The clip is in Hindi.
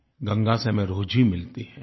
गंगा से हमें रोज़ी मिलती है